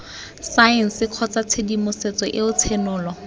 saense kgotsa tshedimosetso eo tshenolo